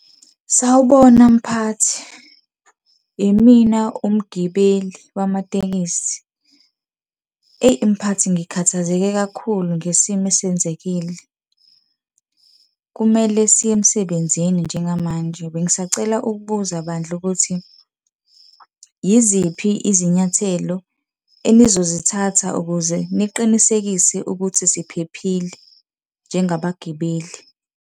Sawubona mphathi. Imina umgibeli wamatekisi. Eyi mphathi ngikhathazeke kakhulu ngesimo esenzekile, kumele siye emsebenzini njengamanje bengisacela ukubuza bandla ukuthi yiziphi izinyathelo enizozithatha ukuze niqinisekise ukuthi siphephile njengabagibeli.